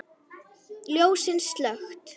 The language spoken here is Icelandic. Ljósin slökkt.